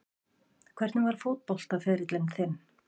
Hvernig var fótboltaferill þinn?